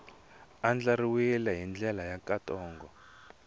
andlariwile hi ndlela ya nkhaqato